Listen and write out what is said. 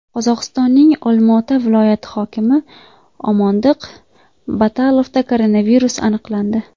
Qozog‘istonning Olmaota viloyati hokimi Omondiq Batalovda koronavirus aniqlandi.